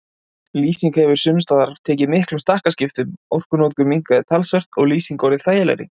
Lýsing hefur sums staðar tekið miklum stakkaskiptum, orkunotkun minnkað talsvert og lýsing orðið þægilegri.